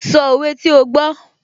Sọ òwe tí ó gbó